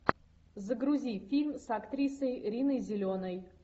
загрузи фильм с актрисой риной зеленой